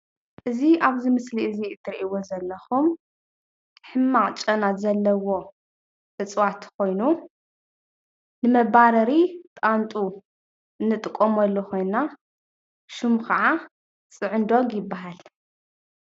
እዚ ኣብዚ ምስሊ እዚ ትርኢዎ ዘለኹም ሕማቅ ጨና ዘለዎ እፅዋት ኾይኑ ንመባረሪ ጣንጡ እንጥቀመሉ ኮይንና ሽሙ ካዓ ጭዕንዶግ ይበሃል።